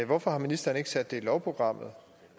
hvorfor har ministeren ikke sat det i lovprogrammet